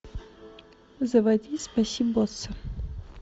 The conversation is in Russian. заводи спаси босса